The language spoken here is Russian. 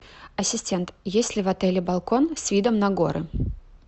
ассистент есть ли в отеле балкон с видом на горы